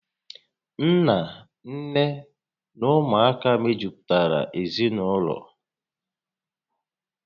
Nna, nné na ụmụaka mejupụtara ezinaụlọ